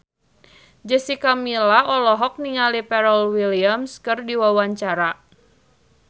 Jessica Milla olohok ningali Pharrell Williams keur diwawancara